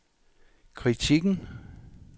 kritikken